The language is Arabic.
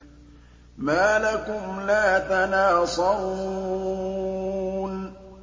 مَا لَكُمْ لَا تَنَاصَرُونَ